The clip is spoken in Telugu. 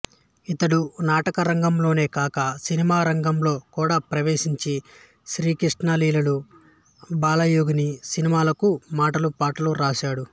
ఇతడు నాటకరంగంలోనే కాక సినిమా రంగంలో కూడా ప్రవేశించి శ్రీకృష్ణ లీలలు బాలయోగిని సినిమాలకు మాటలు పాటలు వ్రాశాడు